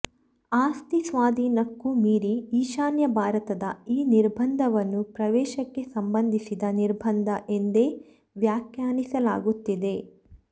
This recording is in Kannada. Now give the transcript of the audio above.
ಆಸ್ತಿ ಸ್ವಾಧೀನಕ್ಕೂ ಮೀರಿ ಈಶಾನ್ಯ ಭಾರತದ ಈ ನಿರ್ಬಂಧವನ್ನು ಪ್ರವೇಶಕ್ಕೆ ಸಂಬಂಧಿಸಿದ ನಿರ್ಬಂಧ ಎಂದೇ ವ್ಯಾಖ್ಯಾನಿಸಲಾಗುತ್ತಿದೆ